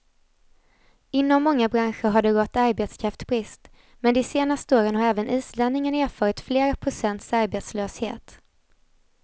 Inom många branscher har det rått arbetskraftsbrist, men de senaste åren har även islänningarna erfarit flera procents arbetslöshet.